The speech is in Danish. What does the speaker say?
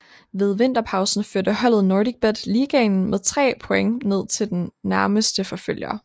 Ved vinterpausen førte holdet NordicBet Ligaen med tre point ned til den nærmeste forfølger